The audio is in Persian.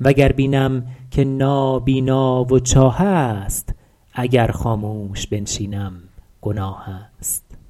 و گر بینم که نابینا و چاه است اگر خاموش بنشینم گناه است